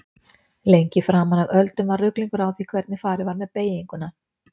Lengi framan af öldum var ruglingur á því hvernig farið var með beyginguna.